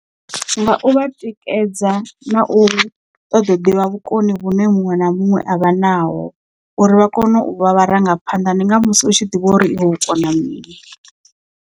Nga u vha tikedza na u ṱoḓo ḓivha vhukoni vhune muṅwe na muṅwe avha naho uri vha kone u vha vharangaphanḓa ndi nga musi u tshi ḓivha uri iwe u kona mini.